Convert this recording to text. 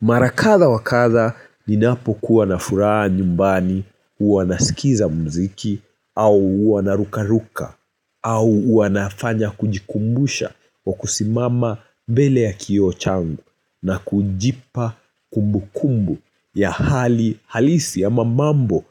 Mara kadhaa wa kadhaa, ninapokuwa na furaha nyumbani, huwa nasikiza mziki au huwa narukaruka au huwa nafanya kujikumbusha kwa kusimama mbele ya kio changu na kujipa kumbukumbu ya hali halisi ama mambo